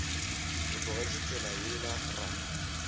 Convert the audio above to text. o tlogetše tsela yela ra